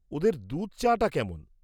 ওদের দুধ চা'টা কেমন?